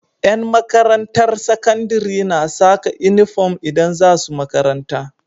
Yan makarantar sakandari na Saka inufom idan zasu makaranta